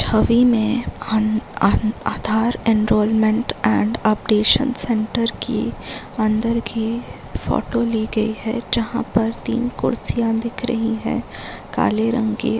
छवि में आधार एनवायरनमेंट और updation centre की अंदर की फोटो की गई जहां पर तीन कुर्सियां दिख रही है काले रंग की।